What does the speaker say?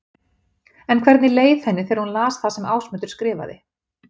En hvernig leið henni þegar hún las það sem Ásmundur skrifaði?